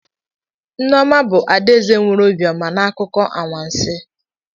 Nneoma bu adaeze nwere obiọma n'akụkọ anwansi